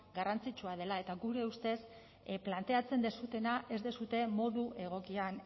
garrantzitsua dela eta gure ustez planteatzen duzuena ez duzue modu egokian